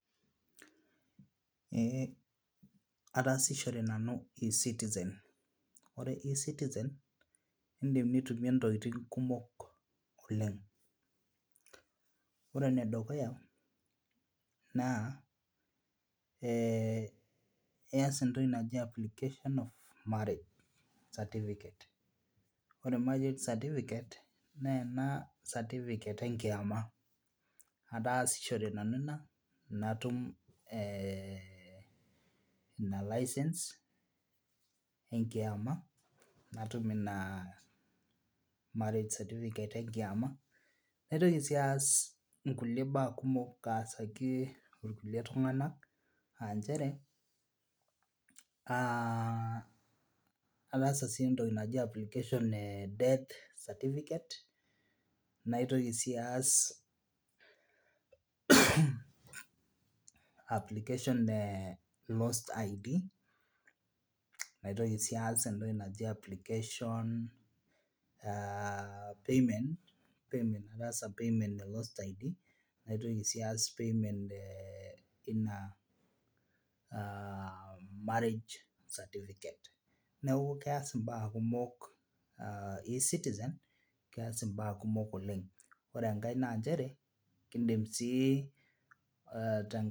Eeh ataasishore nanu e citizen ore e citizen indim nitumie intokiting kumok oleng ore enedukuya naa eh iyas entoki naji application of marriage certificate ore marriage certificate naa ena certificate enkiyama ataasishore nanu ina natum eh ina license enkiama natum ina marriage certificate enkiama naitoki sii aas inkuli baa kumok aasaki irkulie tung'anak anchere uh ataasa sii entoki naji application e death certificate naitoki sii aas application e lost ID naitoki sii aas application uh payment ataasa payment e lost ID naitoki sii aas payment e ina uh [csmarriage certificate neeku keas imbaa kumok uh e citizen keas imbaa kumok oleng ore enkae nanchere kindim sii uh tenka.